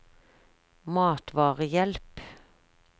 matvarehjelp